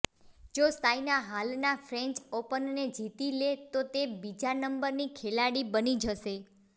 જો સાયના હાલના ફ્રેંચ ઓપનને જીતી લે તો તે બીજા નંબરની ખેલાડી બની જશે